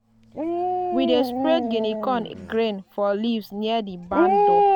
we dey spread guinea corn grains for leaves near di barn door.